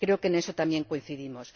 Creo que en eso también coincidimos.